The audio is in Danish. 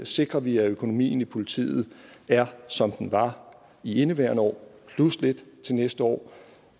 sikrer vi at økonomien i politiet er som den var i indeværende år plus lidt til næste år